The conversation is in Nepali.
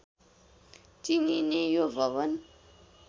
चिनिने यो भवन